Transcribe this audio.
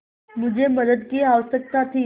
मुझे मदद की आवश्यकता थी